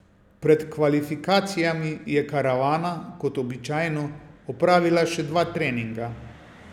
Pred kvalifikacijami je karavana, kot običajno, opravila še dva treninga.